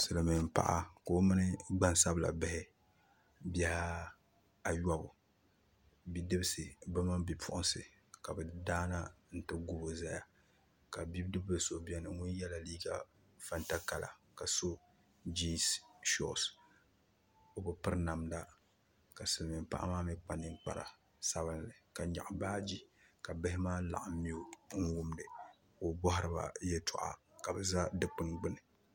Silmiin paɣa ka o mini gbansabila bihi bihi ayobu bipuɣunsi bi mini bidibsi ka bi daana n ti gubo ʒɛya ka bidib so ʒɛya o yɛla liiga fanta kala ka so jiins shoos o bi piri namda ka silmiin paɣa maa mii kpa ninkpari sabinli ka nyaɣa baaji ka bihi maa mii laɣam mee n wumdi ka o bohaiba yɛltɔɣa ka bi ʒɛ dikpuni gbuni